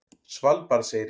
Svalbarðseyri